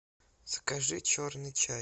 закажи черный чай